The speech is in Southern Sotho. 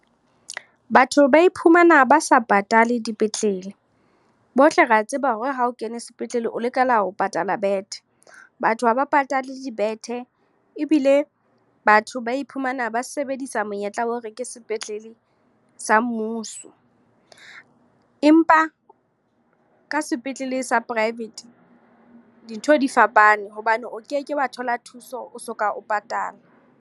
Batho ba iphumana ba sa patale dipetlele. Bohle re a tseba hore ha o kene sepetlele, o lokela ho patala bethe. Batho ha ba patale dibethe, ebile batho ba iphumana ba sebedisa sa monyetla wa hore ke sepetlele sa mmuso. Empa ka sepetlele sa private, dintho di fapane hobane o keke wa thola thuso o soka o patala.